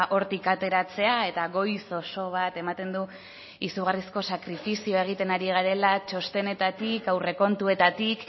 hortik ateratzea eta goiz oso bat ematen du izugarrizko sakrifizioa egiten ari garela txostenetatik aurrekontuetatik